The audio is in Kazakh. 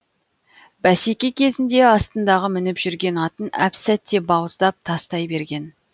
бәсеке кезінде астындағы мініп жүрген атын әп сәтте бауыздап тастай берген